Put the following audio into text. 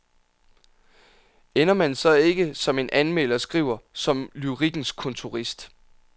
Ender man så ikke, som en anmelder skriver, som lyrikkens kontorist.